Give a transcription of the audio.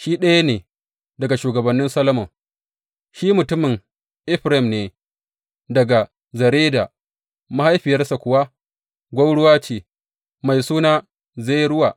Shi ɗaya ne daga shugabannin Solomon, shi mutumin Efraim ne daga Zereda, mahaifiyarsa kuwa gwauruwa ce, mai suna Zeruwa.